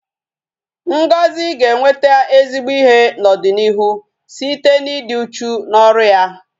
Ngozi ga-enweta ezigbo ihe n'ọdịnịihu site n'ịdị uchu n'ọrụ ya